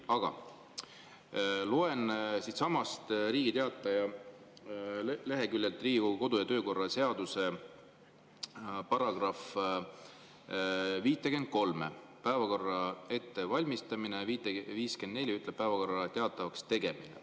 Aga loen siitsamast Riigi Teataja leheküljelt Riigikogu kodu- ja töökorra seaduse § 53 "Päevakorra ettevalmistamine" ja § 54 "Päevakorra teatavakstegemine".